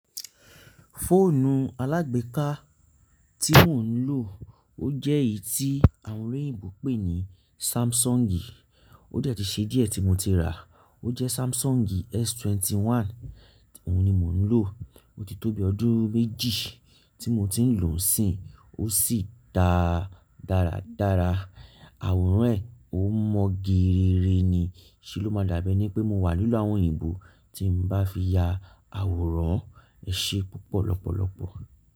Fóònù alágbèéká tí mò ń lò ó jẹ́ èyí tí àwọn oloyìnbó ń pè ní Samsungi. Ó dẹ̀ ti ṣe díẹ̀ tí mo ti ràá. Ó jẹ́ Samsungi S21. Òun ni mò ń lò. Ó ti tó bi ọdún méjì tí mo ti ń lò ó si, ó sì dà dáradára. Àwòrán ẹ̀ ó mọ́ geere ni. Ṣé ló máa dábẹ́ ní pé mo wà nínú àwọn òyìnbó tí ń bá fi ya àwòrán Ẹ ṣe púpọ̀ lọ́pọ̀lọ́pọ̀